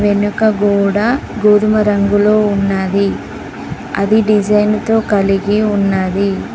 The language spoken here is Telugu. వెనుక గోడ గోధుమ రంగులో ఉన్నది అది డిజైన్తో కలిగి ఉన్నది.